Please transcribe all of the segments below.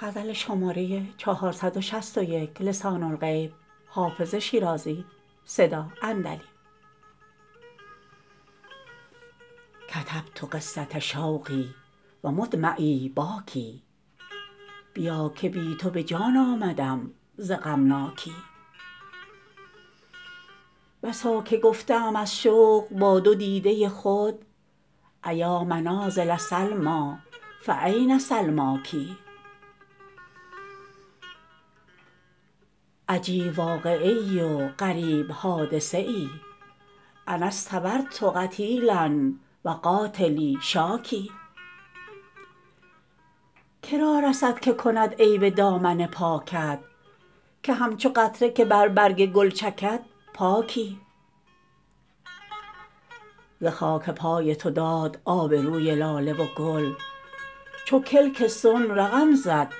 کتبت قصة شوقی و مدمعی باکی بیا که بی تو به جان آمدم ز غمناکی بسا که گفته ام از شوق با دو دیده خود أیا منازل سلمیٰ فأین سلماک عجیب واقعه ای و غریب حادثه ای أنا اصطبرت قتیلا و قاتلی شاکی که را رسد که کند عیب دامن پاکت که همچو قطره که بر برگ گل چکد پاکی ز خاک پای تو داد آب روی لاله و گل چو کلک صنع رقم زد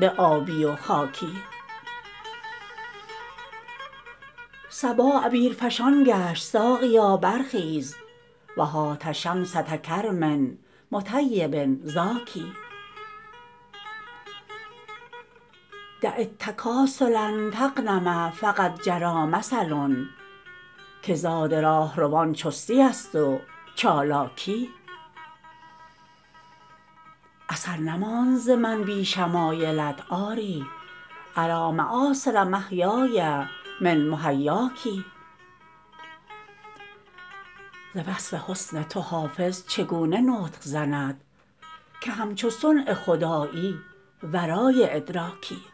به آبی و خاکی صبا عبیرفشان گشت ساقیا برخیز و هات شمسة کرم مطیب زاکی دع التکاسل تغنم فقد جری مثل که زاد راهروان چستی است و چالاکی اثر نماند ز من بی شمایلت آری أری مآثر محیای من محیاک ز وصف حسن تو حافظ چگونه نطق زند که همچو صنع خدایی ورای ادراکی